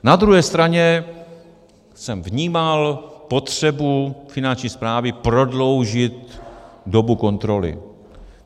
Na druhé straně jsem vnímal potřebu Finanční správy prodloužit dobu kontroly.